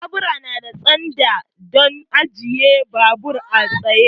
Babur nada standa don ajiye babur a tsaye